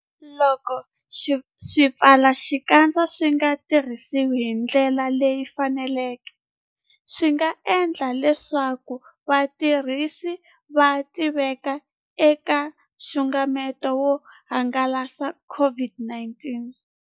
Loko swipfalaxikandza swi nga tirhisiwi hi ndlela leyi faneleke, swi nga endla leswaku vatirhisi va tiveka eka nxungeto wo hangalasa COVID-19.